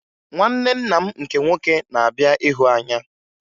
Nwanne nna m nke nwoke na-abịa ịhụ anya